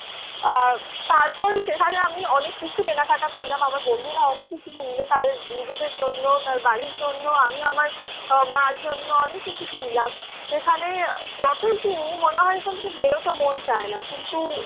আহ তারপর সেখানে আমি অনেক কিছু কেনাকাটা করলাম। আমার বন্ধুরা অনেক কিছু কিনল তাদের নিজেদের জন্য, তাদের বাড়ির জন্য। আমি আমার মার জন্য অনেক কিছু কিনলাম। সেখানে যতই কিনি মনে হয় এখান থেকে বেরোতে মন চায় না। কিন্তু